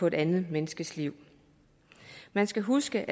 et andet menneskes liv man skal huske